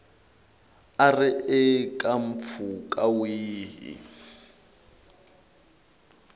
a ri eka mpfhuka wihi